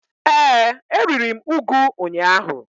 Ee, e riri m ugu ụnyaahụ.